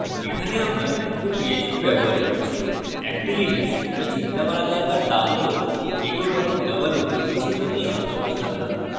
এখানে আমরা শুধু php ব্যবহার করছি একটি জিনিস যা চিন্তা করা দরকার তা হল একক এবং double উদ্ধৃতি চিহ্ন নিয়ে সতর্ক থাকা